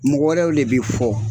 Mɔgɔ wɛrɛw le bɛ fɔ